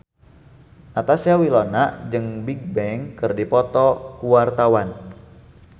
Natasha Wilona jeung Bigbang keur dipoto ku wartawan